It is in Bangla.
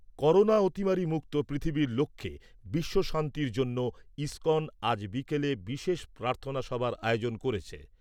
করোনা অতিমারি মুক্ত পৃথিবীর লক্ষ্যে বিশ্বশান্তির জন্য ইস্কন আজ বিকেলে বিশেষ প্রার্থনাসভার আয়োজন করেছে।